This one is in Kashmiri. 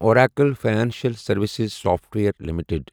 Oracle financial services software limited